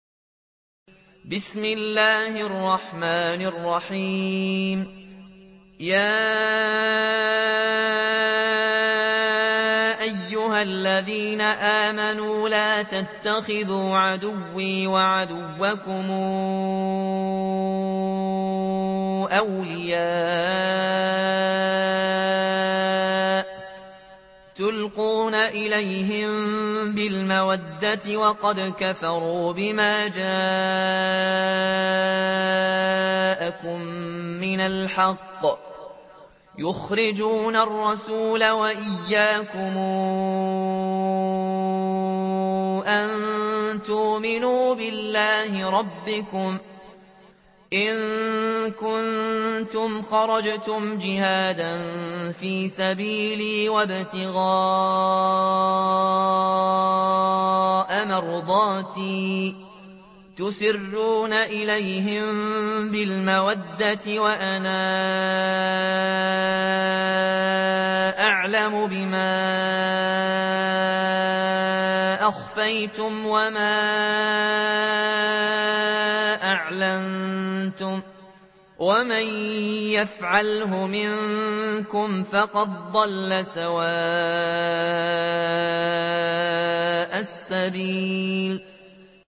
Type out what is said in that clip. يَا أَيُّهَا الَّذِينَ آمَنُوا لَا تَتَّخِذُوا عَدُوِّي وَعَدُوَّكُمْ أَوْلِيَاءَ تُلْقُونَ إِلَيْهِم بِالْمَوَدَّةِ وَقَدْ كَفَرُوا بِمَا جَاءَكُم مِّنَ الْحَقِّ يُخْرِجُونَ الرَّسُولَ وَإِيَّاكُمْ ۙ أَن تُؤْمِنُوا بِاللَّهِ رَبِّكُمْ إِن كُنتُمْ خَرَجْتُمْ جِهَادًا فِي سَبِيلِي وَابْتِغَاءَ مَرْضَاتِي ۚ تُسِرُّونَ إِلَيْهِم بِالْمَوَدَّةِ وَأَنَا أَعْلَمُ بِمَا أَخْفَيْتُمْ وَمَا أَعْلَنتُمْ ۚ وَمَن يَفْعَلْهُ مِنكُمْ فَقَدْ ضَلَّ سَوَاءَ السَّبِيلِ